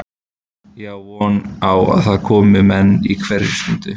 Ég á von á að það komi menn á hverri stundu.